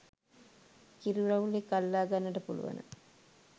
කිරි වවුලෙක් අල්ලා ගන්නට පුළුවන